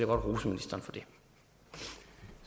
godt rose ministeren